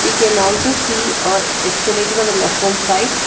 We can also see an accelerator on the left hand side.